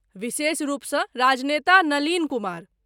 विशेष रूपसँ राजनेता नलिन कुमार।